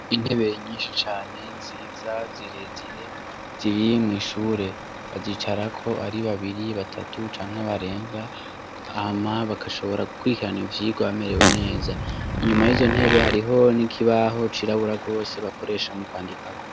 Intebe nyinshi cane nziza zirezire ziri mw’ ishure bazicarako ari babiri ,batatu canke barenga hama bakashobora gukwirikiran’ivyigwa bamerewe neza .Inyuma y'izo ntebe hariho nikibaho cirabura gose bakoresha mu kwandikako